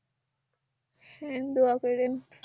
হ্যাঁ দোয়া করিয়েন